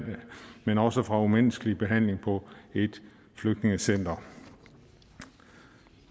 men også fra umenneskelig behandling på et flygtningecenter